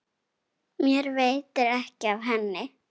Mér veitir ekki af henni.